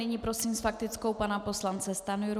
Nyní prosím s faktickou pana poslance Stanjuru.